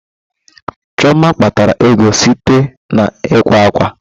Chioma kpatara ego site na ịkwa ákwà.